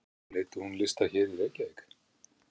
Nú leiddi hún lista hér í Reykjavík?